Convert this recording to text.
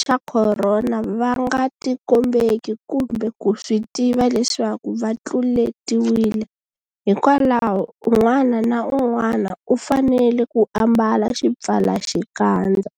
xa Khorona va nga tikombeki kumbe ku swi tiva leswaku va tluletiwile, hikwalaho un'wana na un'wana u fanele ku ambala xipfalaxikandza.